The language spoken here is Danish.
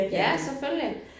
Ja selvfølgelig